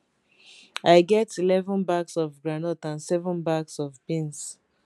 i get eleven bags of groundnut and seven bags of beans